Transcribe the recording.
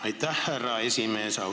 Aitäh, härra esimees!